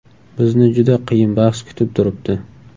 Bizni juda qiyin bahs kutib turibdi.